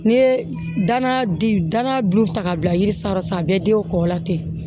N'i ye dana di danaya dun ta k'a bila yiri sanfɛ sisan a bɛɛ denw kɔ la ten